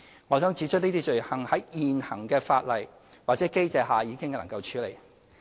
我想指出，這些罪行在現行法例或機制下已能處理。